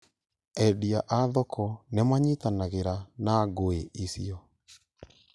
Endia a thoko nĩ maanyitanagĩra na ngũĩ icio